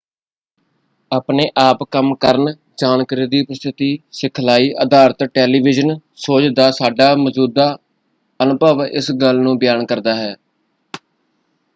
ਆਪਣੇ ਆਪ ਕੰਮ ਕਰਨ ਜਾਣਕਾਰੀ ਦੀ ਪ੍ਰਸਤੁਤੀ ਸਿਖਲਾਈ ਅਧਾਰਤ ਟੈਲੀਵਿਜ਼ਨ ਸ਼ੋਜ਼ ਦਾ ਸਾਡਾ ਮੌਜੂਦਾ ਅਨੁਭਵ ਇਸ ਗੱਲ ਨੂੰ ਬਿਆਨ ਕਰਦਾ ਹੈ।